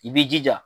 I b'i jija